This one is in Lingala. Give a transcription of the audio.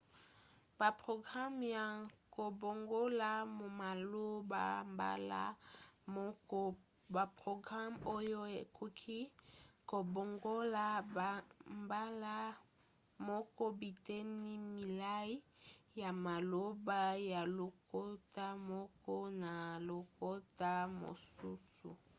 baprograme ya kobongola maloba mbala moko – baprograme oyo ekoki kobongola mbala moko biteni milai ya maloba ya lokota moko na lokota mosusu